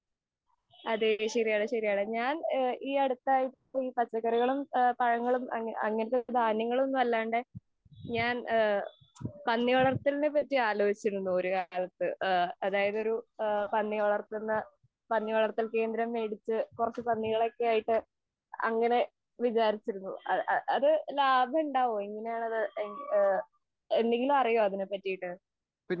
ആ അതെ അതെ ശരിയാണ്. ഞാൻ ഈ അടുത്തായിട്ട് ഈ പച്ചക്കറികളും ഈ പഴങ്ങളും ഇങ്ങനെത്തെ ധാന്യങ്ങളൊന്നും അല്ലാതെ ഞാൻ പന്നി വളർത്തകളെ കുറിച്ച് ആലോജിച്ചിരുന്നു അതായത് ഒരു പന്നി വളര്ത്തല് പന്നി വളർത്തൽ കേന്ദ്രം വേടിച്ചു പന്നികളൊക്കെ ആയിട്ട് അങ്ങനെ വിചാരിച്ചിരിന്നു അത് ലാഭമുണ്ടാകുമോ അത് എങ്ങനെയാണ് അത് എന്തെങ്കിലും അറിയോ അതിനെ പറ്റിയിട്ട്?